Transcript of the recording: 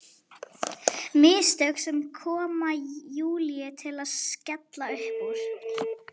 Mistök sem koma Júlíu til að skella upp úr.